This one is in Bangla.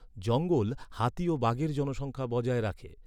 জঙ্গল হাতি ও বাঘের জনসংখ্যা বজায় রাখে।